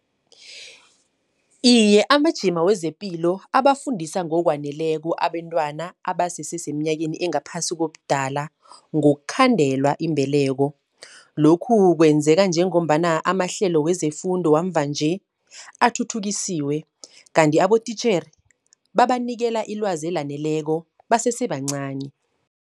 Iye amajima wezepilo abafundisa ngokwaneleko abentwana, abasese semnyakeni engaphasi kobudala, ngokhandela imbeleko. Lokhu kwenzeka njengombana amahlelo wezefundo wamvanje athuthukisiwe, kanti abotitjhere babanikela ilwazi elaneleko basesebancani.